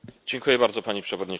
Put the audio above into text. Pani Przewodnicząca!